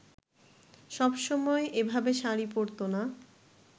সবসময় এভাবে শাড়ি পরতো না